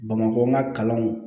Bamakɔka kalanw